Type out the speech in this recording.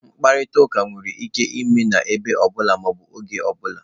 Mkparịta ụka nwere ike ime n'ebe ọ bụla ma ọ bụ oge ọ bụla.